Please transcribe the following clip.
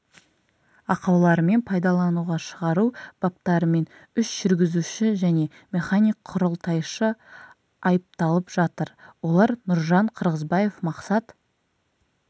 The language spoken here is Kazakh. ақауларымен пайдалануға шығару баптарымен үш жүргізуші және механик құрылтайшы айыпталып жатыр олар нұржан қырғызбаев мақсат